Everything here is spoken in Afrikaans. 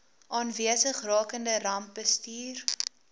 aanwesig rakende rampbestuur